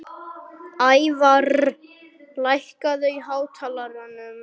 Ævarr, lækkaðu í hátalaranum.